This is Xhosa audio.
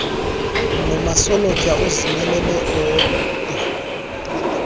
namasolotya azimele odwa